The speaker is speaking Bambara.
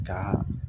Ka